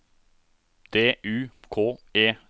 D U K E T